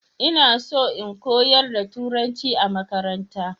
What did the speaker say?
ina so in koyar da turanci a makaranta